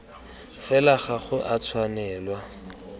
fela ga go a tshwanelwa